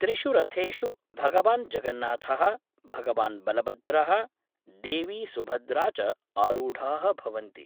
त्रिषु रथेषु भगवान् जगन्नाथ:, भगवान् बलभद्रः, देवी सुभद्रा च आरूढ़ा: भवन्ति।